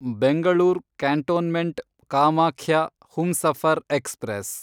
Bengaluru cantonment Kamakhya Humsafar express